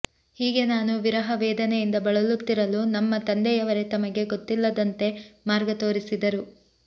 ಹೀಗೆ ನಾನು ವಿರಹ ವೇದನೆಯಿಂದ ಬಳಲುತ್ತಲಿರಲು ನಮ್ಮ ತಂದೆಯವರೇ ತಮಗೇ ಗೊತ್ತಿಲ್ಲದಂತೆ ಮಾರ್ಗ ತೋರಿಸಿದರು